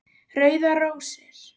Rauðar rósir